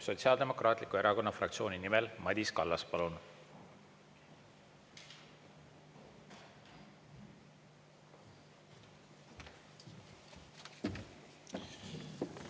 Sotsiaaldemokraatliku Erakonna fraktsiooni nimel Madis Kallas, palun!